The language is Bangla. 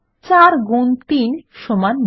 ৪ গুন ৩ সমান ১২